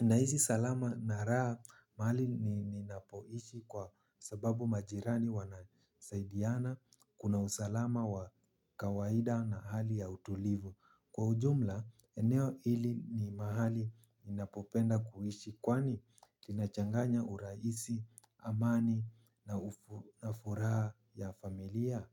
Naizi salama na raha mahali ninapoishi kwa sababu majirani wanasaidiana. Kuna usalama wa kawaida na hali ya utulivu. Kwa ujumla, eneo hili ni mahali ninapopenda kuhishi kwani linachanganya uraisi, amani na ufuraa ya familia.